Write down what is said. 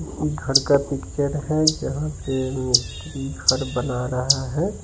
किसी घर का पिक्चर है जहाँ पे मिस्त्री घर बना रहा है।